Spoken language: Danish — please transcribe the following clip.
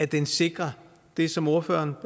den sikrer det som ordføreren